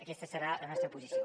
aquesta serà la nostra posició